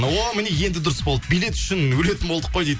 о міне енді дұрыс болды билет үшін өлетін болдық қой дейді